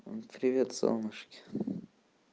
привет солнышки